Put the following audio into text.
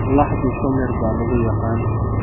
Laxdu samir baa lagu yaqaan.